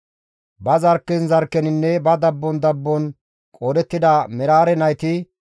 Ba zarkken zarkkeninne ba dabbon dabbon qoodettida Meraare nayti,